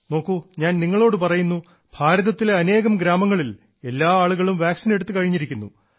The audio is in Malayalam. നോക്കൂ ഞാൻ നിങ്ങളോടു പറയുന്നു ഭാരതത്തിലെ അനേകം ഗ്രാമങ്ങളിൽ എല്ലാ ആളുകളും വാക്സിൻ എടുത്തു കഴിഞ്ഞിരിക്കുന്നു